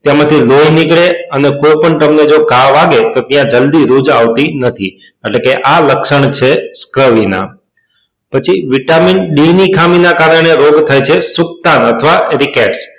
તેમાં થી લોહી નીકળે અને કોઈ પણ તમને જો ઘ વાગે તો ત્યાં જલ્દી રુજ આવતી નથી એટલે કે આ લક્ષણ છે પછી vitamin d ની ખામી ના કારણે રોગ થાય છે સુક્તાવ અથવા